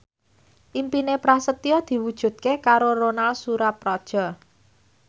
impine Prasetyo diwujudke karo Ronal Surapradja